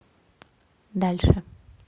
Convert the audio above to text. дальше